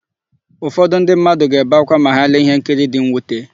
Ụfọdụ ndị mmadụ ga-ebe ákwá ma ha lee íhénkiri dị nnwute.